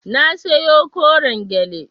Na siyo koren gyale.